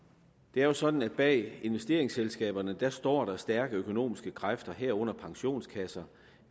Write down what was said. det er jo sådan at bag investeringsselskaberne står der stærke økonomiske kræfter herunder pensionskasser